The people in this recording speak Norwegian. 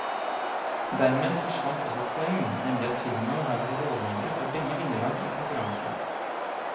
Dermed forsvant også et poeng, nemlig at firmaet har vært rådgivere for begge vinnerlag i konkurransen.